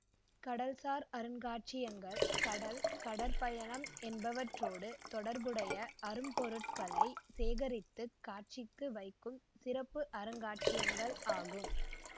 கடல்சார் அருங்காட்சியகங்கள் கடல் கடற்பயணம் என்பவற்றோடு தொடர்புடைய அரும்பொருட்களைக் சேகரித்து காட்சிக்கு வைக்கும் சிறப்பு அருங்காட்சியகங்கள் ஆகும்